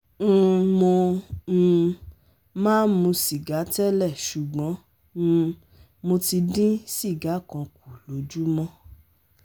um Mo um máa ń mu sìgá tẹ́lẹ̀ ṣùgbọ́n um mo ti dín siga kan kù lójúmọ́